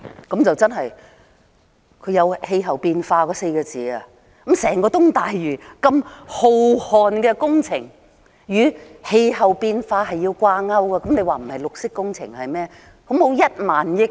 局長說出了"氣候變化"這4個字，說整個東大嶼如此浩瀚的工程與氣候變化是要掛鈎的，這還不是綠色工程是甚麼？